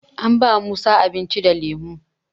An ba musa abinci da lemo